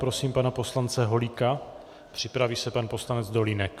Prosím pana poslance Holíka, připraví se pan poslanec Dolínek.